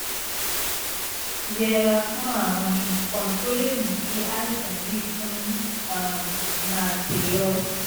yẹra fún àwọn nǹkan tó lè mú kí àìsàn yìí tún um máa ṣe ọ́